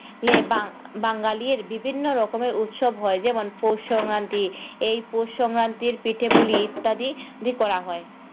লে বা~ বাঙালির বিভিন্ন রকমের উৎসব হয় যেমন পৌষ সংক্রান্তি, এই পৌষ সংক্রান্তির পিঠে-পুলি ইত্যাদি দি করা হয়।